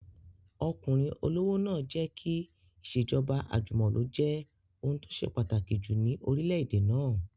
Ọkùnrin olówó náà jẹ́ kí ìṣèjọba àjùmọ̀lo jẹ́ ohun tó ṣe pàtàkì jù ní orílẹ̀-èdè náà